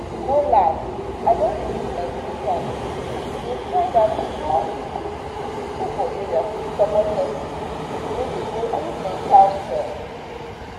no lie i don dey use my free time dey find out how people people for area fit support person wey dey go through mental stress.